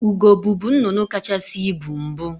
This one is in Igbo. Ugo bubu nnnụnụ kacahasị ibu mbụ.